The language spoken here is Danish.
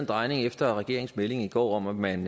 drejning efter regeringens melding i går om at man